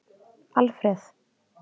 Alfreð